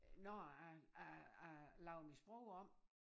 Når jeg at jeg lavede mit sprog om